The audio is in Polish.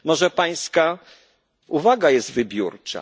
Może pańska uwaga jest wybiórcza?